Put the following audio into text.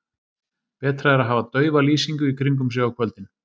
Betra er að hafa daufa lýsingu í kringum sig á kvöldin.